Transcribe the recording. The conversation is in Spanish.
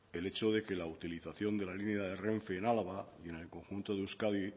el hecho de que la utilización de la línea de renfe en álava y en el conjunto de euskadi